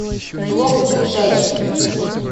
лофт ближайший